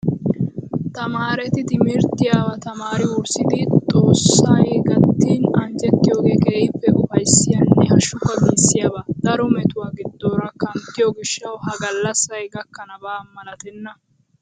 Tamaareti timirttiyaa tamaarii wurssidi xoossi gattin anjjettiyoogee keehippe upayissiyaanne hashukka giissiyaaba. Daro metuwaa giddoora kanttiyoo gishshawu ha gallassayi gakkanaba malatenna.